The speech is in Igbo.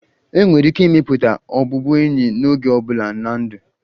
Enwere ike ịmepụta ọbụbụenyi n'oge ọ bụla na ndụ.